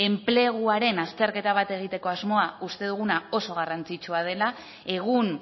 enpleguaren azterketa bat egiteko asmoa uste duguna oso garrantzitsua dela egun